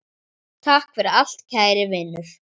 Takk fyrir allt kæri Vinur.